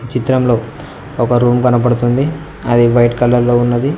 చిత్రంలో ఒక రూమ్ కనపడుతుంది అది వైట్ కలర్ లో ఉన్నది.